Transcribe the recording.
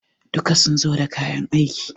duka sun zo da kayan aiki?